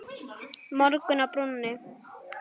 Morgunn á brúnni